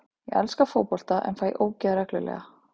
Ég elska fótbolta en fæ ógeð reglulega.